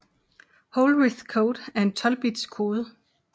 Hollerith code er en 12 bits kode